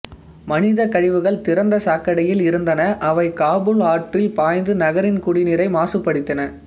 மனித கழிவுகள் திறந்த சாக்கடையில் இருந்தன அவை காபூல் ஆற்றில் பாய்ந்து நகரின் குடிநீரை மாசுபடுத்தின